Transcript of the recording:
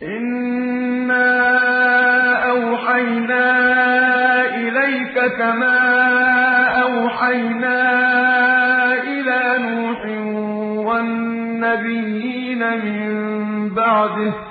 ۞ إِنَّا أَوْحَيْنَا إِلَيْكَ كَمَا أَوْحَيْنَا إِلَىٰ نُوحٍ وَالنَّبِيِّينَ مِن بَعْدِهِ ۚ